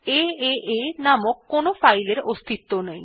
এএ নামক কোনো ফাইলের অস্তিত্ব নেই